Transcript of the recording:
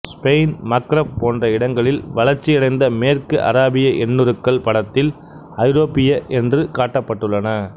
Spain Maghreb போன்ற இடங்களில் வளர்ச்சியடைந்த மேற்கு அராபிய எண்ணுருக்கள் படத்தில் ஐரோப்பிய என்று காட்டப்பட்டுள்ளன